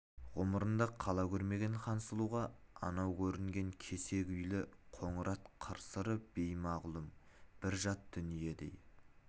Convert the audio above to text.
ғұмырында қала көрмеген хансұлуға анау көрінген кесек үйлі қоңырат қыры-сыры беймағлұм бір жат дүниедей